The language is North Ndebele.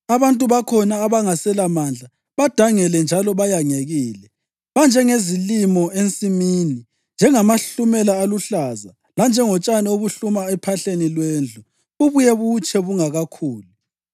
Abantu bakhona, abangaselamandla, badangele njalo bayangekile. Banjengezilimo ensimini, njengamahlumela aluhlaza, lanjengotshani obuhluma ephahleni lwendlu bubuye butshe bungakakhuli.